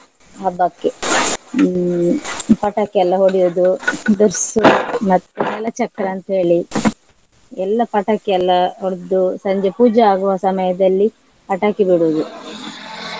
ಹಬ್ಬಕ್ಕೆ , ಹ್ಮ್ ಪಟಾಕಿ ಎಲ್ಲ ಹೊಡೆಯುವುದು ದುರ್ಸು ಮತ್ತೆ ನೆಲಚಕ್ರ ಅಂತೇಳಿ ಎಲ್ಲಾ ಪಟಾಕಿ ಎಲ್ಲ ಹೊಡ್ದು Babble ಸಂಜೆ ಪೂಜೆ ಆಗುವ ಸಮಯದಲ್ಲಿ ಪಟಾಕಿ ಬಿಡುದು .